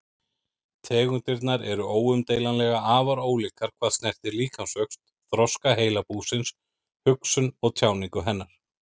Tegundirnar eru óumdeilanlega afar ólíkar hvað snertir líkamsvöxt, þroska heilabúsins, hugsun og tjáningu hennar.